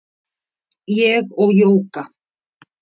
Ég og Jóga